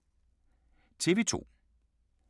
TV 2